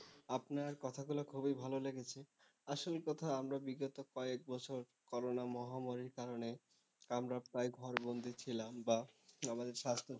আপনার কথাগুলো খুবই ভালো লেগেছে। আসল কথা আমরা বিগত কয়েক বছর করোনা মহামারীর কারণে আমরা প্রায় ঘরবন্দী ছিলাম বা আমাদের স্বাস্থ্য,